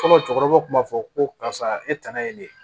Fɔlɔ cɛkɔrɔbaw kun b'a fɔ ko karisa e tanna ye nin ye